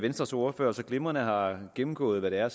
venstres ordfører så glimrende har gennemgået hvad det er